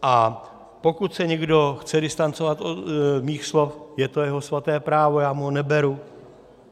A pokud se někdo chce distancovat od mých slov, je to jeho svaté právo, já mu ho neberu.